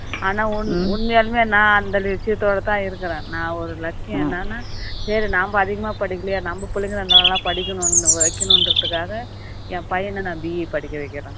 ஆனா உண்மையாலுமே நான் அந்த விஷயத்தோட தான் இருக்கிறேன் நான் ஒரு லட்சியம் என்னன்னா சரி நம்ம அதிகமா படிக்கலையே நம்ம புள்ளைங்கள படிக்கணும் வைக்கணும் என்குரதுக்காக என் பையன நான் be படிக்க வைக்கிறேன்